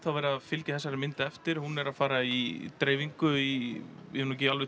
verið að fylgja þessari mynd eftir hún er að fara í dreifingu í ég hef nú ekki